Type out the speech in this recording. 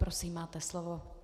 Prosím, máte slovo.